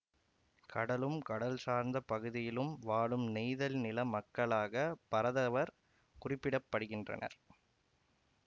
கடலும் கடல் சார்ந்த பகுதியிலும் வாழும் நெய்தல் நில மக்களாக பரதவர் குறிக்கப்படுகின்றனர்